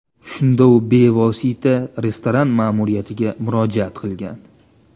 Shunda u bevosita restoran ma’muriyatiga murojaat qilgan.